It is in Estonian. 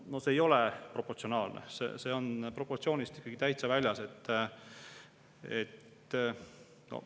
No see ei ole proportsionaalne, see on proportsioonist täitsa väljas.